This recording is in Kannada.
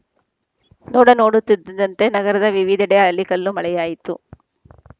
ನೋಡ ನೋಡುತ್ತಿದ್ದಂತೆ ನಗರದ ವಿವಿಧೆಡೆ ಆಲಿಕಲ್ಲು ಮಳೆಯಾಯಿತು